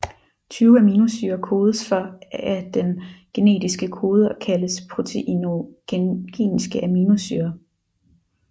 Tyve aminosyrer kodes for af den genetiske kode og kaldes proteinogeniske aminosyrer